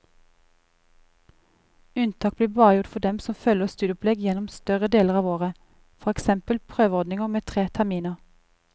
Unntak blir bare gjort for dem som følger studieopplegg gjennom større deler av året, for eksempel prøveordninger med tre terminer.